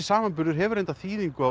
samanburður hefur reyndar þýðingu